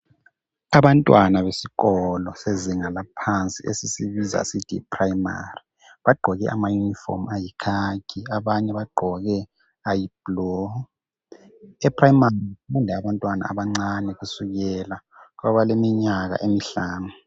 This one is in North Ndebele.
Abantwana besikolo sezinga laphansi esisibiza sithi yiprayimari, bagqoke amayinifomu ayikhakhi, abanye bagqoke ayiblu. Eprayimari kufunda abantwana abancane kusukela kwabaleminyaka emihlanu.